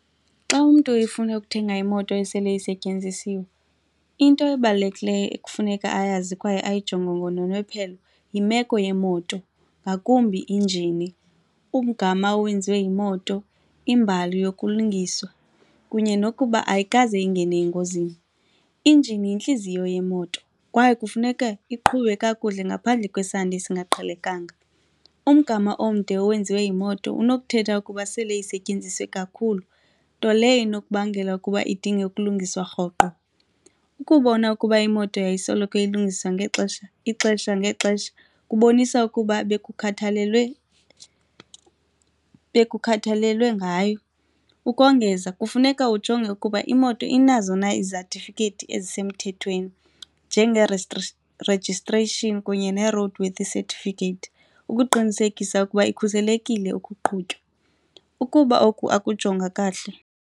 Xa umntu efuna ukuthenga imoto esele isetyenzisiwe, into ebalulekileyo ekufuneka ayazi kwaye ayijonge ngononophelo yimeko yemoto ngakumbi injini, umgama owenziwe yimoto, imbali yokulungiswa kunye nokuba ayikaze ingene engozini. Injini yintliziyo yemoto kwaye kufuneke iqhube kakuhle ngaphandle kwesandi esingaqhelekanga. Umgama omde owenziwe yimoto unokuthetha ukuba sele isetyenziswa kakhulu nto leyo inokubangela ukuba idinge ukulungiswa rhoqo. Ukubona ukuba imoto yayisoloko ilungiswa ngexesha ixesha ngexesha kubonisa ukuba bekukhathalelwe bekukhathalelwe ngayo. Ukongeza kufuneka ujonge ukuba imoto inazo na izatifikheti ezisemthethweni njenge registration kunye ne-road worthy certificate ukuqinisekisa ukuba ikhuselekile okuqhutywa. Ukuba oku akujongwa kahle.